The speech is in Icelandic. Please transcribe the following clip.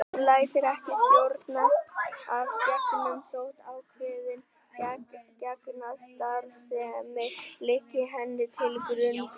Hún lætur ekki stjórnast af genum þótt ákveðin genastarfsemi liggi henni til grundvallar.